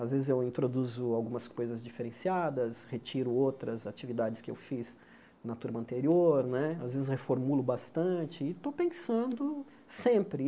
Às vezes eu introduzo algumas coisas diferenciadas, retiro outras atividades que eu fiz na turma anterior né, às vezes reformulo bastante e estou pensando sempre.